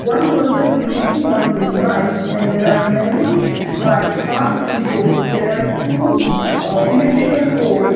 one person is sitting on his bike and there are many bikes parked in road there are two uh electrical pole --